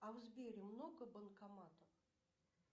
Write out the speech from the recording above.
а в сбере много банкоматов